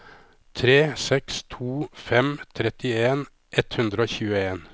tre seks to fem trettien ett hundre og tjueen